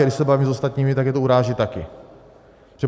A když se bavím s ostatními, tak je to uráží taky.